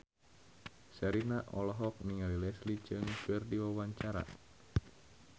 Sherina olohok ningali Leslie Cheung keur diwawancara